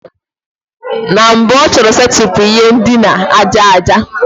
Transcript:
Na mbụ ọ chọrọ setịpụ ihe ndina aja aja.